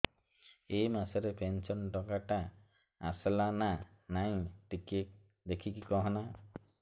ଏ ମାସ ରେ ପେନସନ ଟଙ୍କା ଟା ଆସଲା ନା ନାଇଁ ଟିକେ ଦେଖିକି କହନା